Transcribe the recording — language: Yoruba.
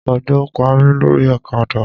Òjò Pa mí lórí ọ̀kadà.